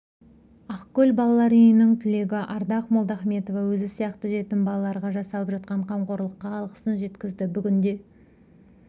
ақкөл балалар үйінің түлегі ардақ молдахметова өзі сияқты жетім балаларға жасалып жатқан қамқорлыққа алғысын жеткізді бүгінде